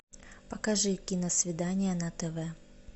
покажи киносвидание на тв